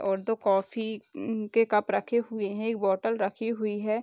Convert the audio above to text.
और दो कॉफी उम्म के कप रखे हुए है एक बोटल रखी हुई है।